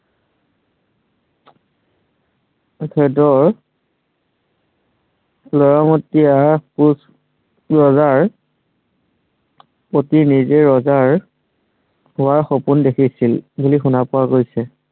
তেখেতৰ ল'ৰামতিয়া কোঁচ, ৰজাৰ পতি নিজাই ৰজা হোৱাৰ সপোন দেখিছিল বুলি শুনা পোৱা গৈছে।